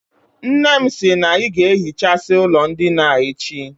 Nne m sI na I ga-ehichasi ulo ndina a echi